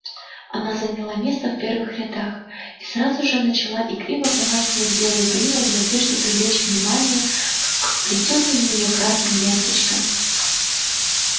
она заняла место в первых рядах и сразу же начала игриво помахивать белой гривой в надежде привлечь внимание к вплетённым в неё красным ленточкам